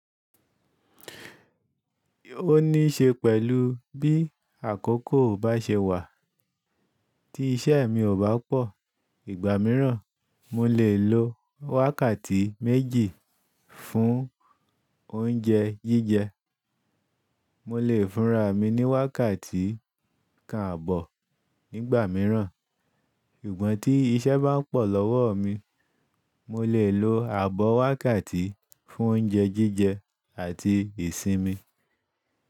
Ó ní ṣe pẹ̀lú bí àkókò bá ṣe wà. Tí iṣẹ́ mi ò bá pọ̀ ìgbà mìíràn, mo lè lo wákàtí méjì fún oúnjẹ jíjẹ. Mo lè fúnra mi ní wákàtí kan àbọ̀ nígbà mìíràn. Sugbon tí iṣẹ́ bá pọ̀ lọ́wọ́ mi, mo lè lo àbọ̀ wákàtí fún oúnjẹ jíjẹ àti ìsinmi.